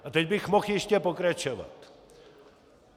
A teď bych mohl ještě pokračovat.